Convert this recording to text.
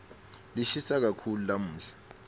lishisa kakhulu lamuhla